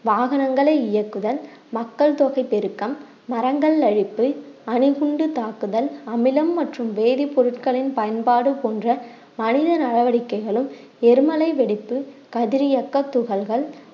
வாகனங்களை இயக்குதல், மக்கள் தொகை பெருக்கம், மரங்கள் அழிப்பு, அணுகுண்டு தாக்குதல், அமிலம் மற்றும் வேதிப்பொருட்களின் பயன்பாடு போன்ற மனித நடவடிக்கைகளும் எரிமலை வெடிப்பு, கதிரியக்க துகள்கள்